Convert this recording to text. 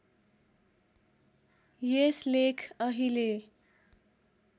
यस लेख अहिले